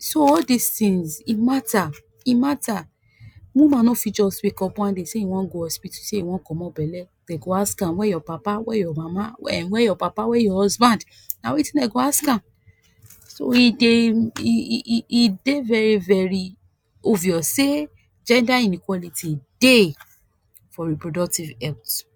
So all dis tins e matter, e matter! Woman no fi just wake up one day say e wan go hospital say e wan comot belle, den go ask am where your papa, where your mama, [um} where your papa, where your husband. Na wetin den go ask am, so e dey, e, e e dey very very obvious say gender inequality dey for reproductive health.